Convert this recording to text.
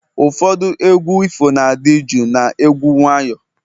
ụfọdụ egwu ifo na-adị jụụ na egwu nwayọ